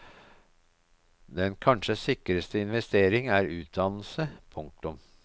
Den kanskje sikreste investering er utdannelse. punktum